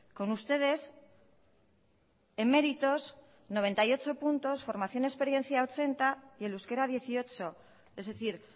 con ustedes en méritos noventa y ocho puntos formación y experiencia ochenta y el euskera dieciocho es decir